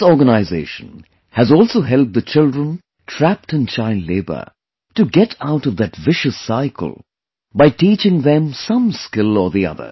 This organization has also helped the children trapped in child labor to get out of that vicious cycle by teaching them some skill or the other